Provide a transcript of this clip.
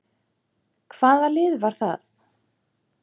Hvaða lið var það?